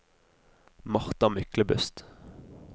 Martha Myklebust